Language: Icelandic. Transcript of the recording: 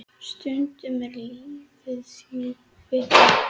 Stundum er lífið jú brekka.